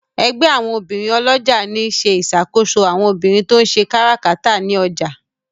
ègbé àwọn obìrin olójà ní ṣe ìṣàkóso àwọn obìrin to ń ṣe káràkátà ní ọjà.